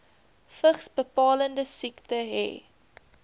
vigsbepalende siekte hê